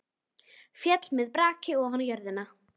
Féll með braki ofan á jörðina.